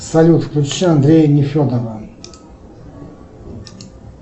салют включи андрея нефедова